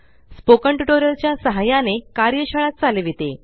spoken tutorial च्या सहाय्याने कार्यशाळा चालविते